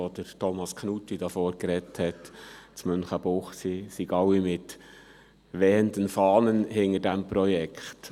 Vorhin, als Thomas Knutti hier am Rednerpult sprach, hätte man meinen können, in Münchenbuchsee stünden alle mit wehenden Fahnen hinter diesem Projekt.